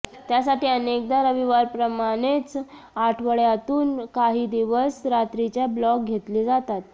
त्यासाठी अनेकदा रविवारप्रमाणेच आठवडय़ातून काही दिवस रात्रीचे ब्लॉक घेतले जातात